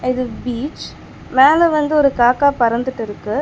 இது பீச் மேல வந்து ஒரு காக்கா பறந்துட்டு இருக்கு.